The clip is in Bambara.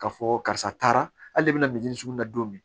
Ka fɔ karisa taara hali i bɛna sugunɛ don